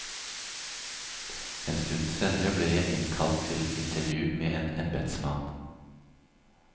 En stund senere ble jeg innkalt til intervju med en embedsmann.